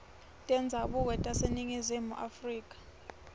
tendzabuko taseningizimu afrika